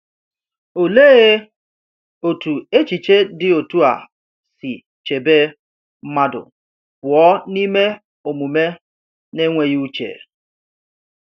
Olee otú echiche dị otu a si chebe mmadụ pụọ n’ime omume na-enweghị uche!